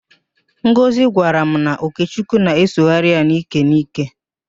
Ngozị gwara m na Okechukwu na-esogharị ya n'íkè n'íkè.